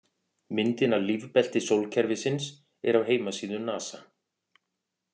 Myndin af lífbelti sólkerfisins er af heimasíðu NASA.